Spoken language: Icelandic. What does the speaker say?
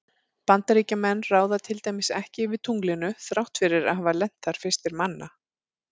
Bandaríkjamenn ráða til dæmis ekki yfir tunglinu þrátt fyrir að hafa lent þar fyrstir manna.